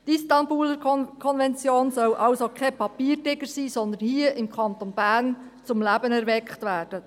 Die Istanbul-Konvention soll somit kein Papiertiger sein, sondern hier im Kanton Bern zum Leben erweckt werden.